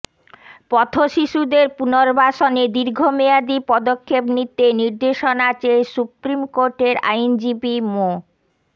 পথশিশুদের পুনর্বাসনে দীর্ঘমেয়াদি পদক্ষেপ নিতে নির্দেশনা চেয়ে সুপ্রিমকোর্টের আইনজীবী মো